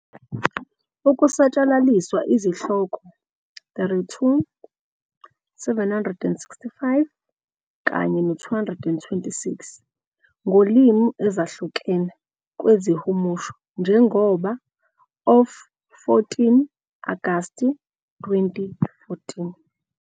Ukusatshalaliswa izihloko 32,765,226 ngolimi ezahlukene kwizihumusho, njengoba of 14 Agasti 2014.